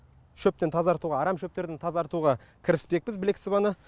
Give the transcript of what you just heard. шөптен тазартуға арам шөптен тазартуға кіріспекпіз білек сыбана